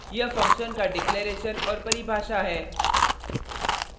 यह फंक्शन का डिक्लेरैशन और परिभाषा है